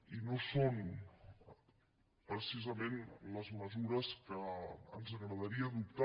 i no són precisament les mesures que ens agradaria adoptar